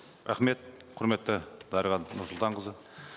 рахмет құрметті дариға нұрсұлтанқызы